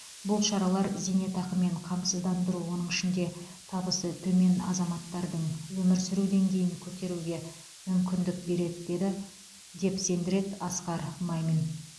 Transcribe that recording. бұл шаралар зейнетақымен қамсыздандыру оның ішінде табысы төмен азаматтардың өмір сүру деңгейін көтеруге мүмкіндік береді деді деп сендіреді асқар мамин